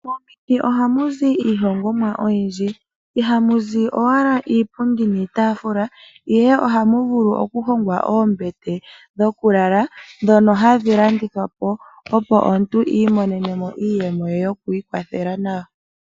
Momiti ohamu zi iihongomwa oyindji. Ihamu zi owala iipundi niitaafula, ihe ohamu vulu oku hongwa oombete dhokulala ndhono hadhi landithwa po, opo omuntu i imonene iiyemo yoku ikwathela nayo.